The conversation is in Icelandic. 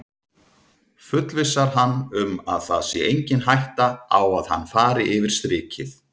Fullvissar hann um að það sé engin hætta á að hann fari yfir strikið.